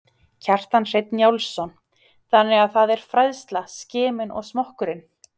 Kjartan Hreinn Njálsson: Þannig að það er fræðsla, skimun og smokkurinn?